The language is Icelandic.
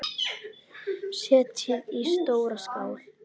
Setjið í stóra skál.